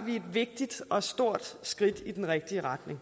vi et vigtigt og stort skridt i den rigtige retning